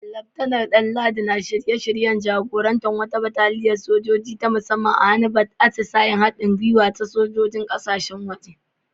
Laftanar Danladi na shirye-shiryen jagorantar wata bataliyar sojoji ta musamman a wani atisayen haɗin gwiwa da sojojin kasashen waje.